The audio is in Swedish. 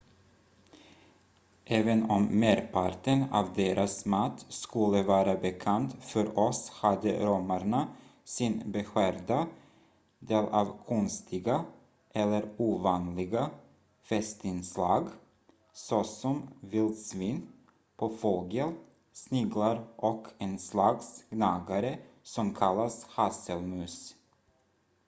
även om merparten av deras mat skulle vara bekant för oss hade romarna sin beskärda del av konstiga eller ovanliga festinslag såsom vildsvin påfågel sniglar och en slags gnagare som kallas hasselmus